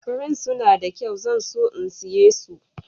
Furen suna da kyau. zan so in saya su.